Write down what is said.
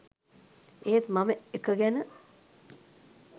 ඒත් මම එක ගැන